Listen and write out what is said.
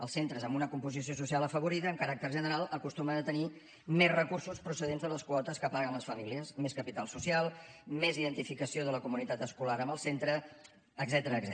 els centres amb una composició social afavorida amb caràcter general acostumen a tenir més recursos procedents de les quotes que paguen les famílies més capital social més identificació de la comunitat escolar amb el centre etcètera